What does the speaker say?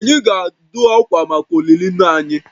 Anyị ga-adụ akwa maka olili nna anyị